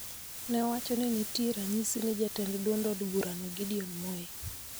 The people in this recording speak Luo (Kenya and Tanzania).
Ne owacho ni nitie ranyisi ni jatend duond od burano Gideon Moi